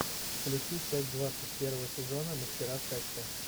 включи часть двадцать первого сезона мастера секса